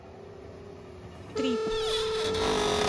трип